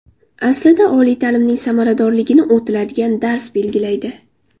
Aslida, oliy ta’limning samaradorligini o‘tiladigan dars belgilaydi.